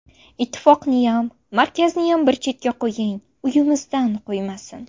Ittifoqniyam, markaziniyam bir chetga qo‘ying, uyimizdan qo‘ymasin.